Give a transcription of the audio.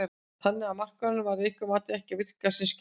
Þannig að markaðurinn að ykkar mati er ekki að virka sem skyldi?